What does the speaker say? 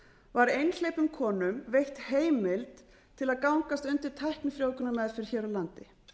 var einhleypum konum veitt heimild til að gangast undir tæknifrjóvgunarmeðferð hér á landi